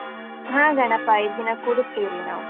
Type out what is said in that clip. ಹಾ, ಗಣಪ ಐದ್ ದಿನ ಕೂಡಿಸ್ತೀವ್ರಿ ನಾವ್.